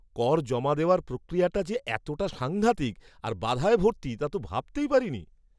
কর জমা দেওয়ার প্রক্রিয়াটা যে এতটা সাঙ্ঘাতিক আর বাধায় ভর্তি তা তো ভাবতেই পারিনি!